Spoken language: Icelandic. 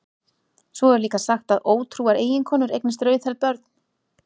Svo er líka sagt að ótrúar eiginkonur eignist rauðhærð börn.